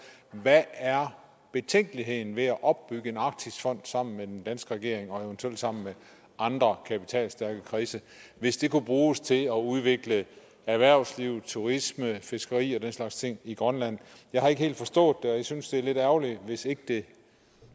hvad er betænkeligheden ved at opbygge en arktisfond sammen med den danske regering og eventuelt sammen med andre kapitalstærke kredse hvis det kunne bruges til at udvikle erhvervsliv turisme fiskeri og den slags ting i grønland jeg har ikke helt forstået det og jeg synes at det er lidt ærgerligt hvis ikke det